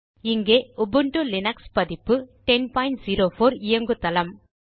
இங்கே Ubuntu Linux பதிப்பு 1004 இயங்குதளம்